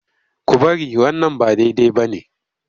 Ku bari wannan ba daidai ba ne!